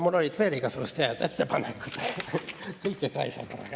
Mul oli veel igasuguseid häid ettepanekuid, aga kõike korraga ka ei saa.